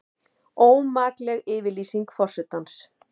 Ómakleg yfirlýsing forsetans